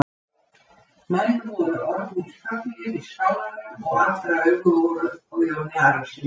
Menn voru orðnir þöglir í skálanum og allra augu voru á Jóni Arasyni.